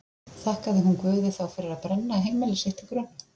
Þakkaði hún Guði þá fyrir að brenna heimili sitt til grunna?